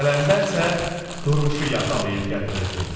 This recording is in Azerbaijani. Qələndər isə Durmuşu yaxalayıb gətirirdi.